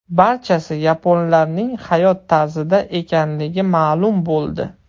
Barchasi yaponlarning hayot tarzida ekanligi ma’lum bo‘ldi.